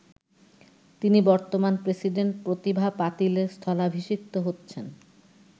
তিনি বর্তমান প্রেসিডেন্ট প্রতিভা পাতিলের স্থলাভিষিক্ত হচ্ছেন।